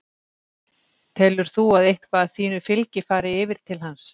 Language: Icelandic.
Telur þú að eitthvað af þínu fylgi fari yfir til hans?